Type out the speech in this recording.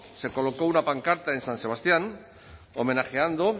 se colocó una pancarta en san sebastián homenajeando